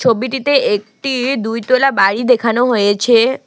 ছবিটিতে একটি দুইতলা বাড়ি দেখানো হয়েছে।